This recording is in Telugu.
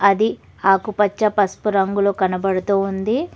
అది ఆకుపచ్చ పసుపు రంగులో కనబడుతూ ఉంది.